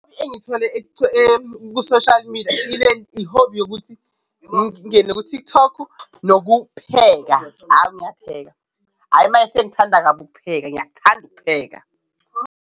Engiyithole ku-social media i-hobby yokuthi ngingene ku-TikTok nokupheka hhayi ngiyapheka, hhayi maye sengithanda kabi ukupheka, ngiyakuthanda ukupheka.